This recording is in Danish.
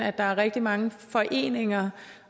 at der er rigtig mange foreninger